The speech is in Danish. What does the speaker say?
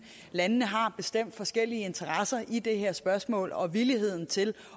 landene har bestemt forskellige interesser i det her spørgsmål og villigheden til